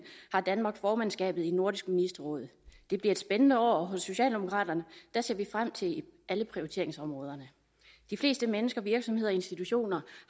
har danmark formandskabet i nordisk ministerråd det bliver et spændende år og hos socialdemokraterne ser vi frem til alle prioriteringsområderne de fleste mennesker virksomheder og institutioner